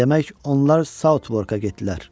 Demək, onlar Saoutwörkə getdilər.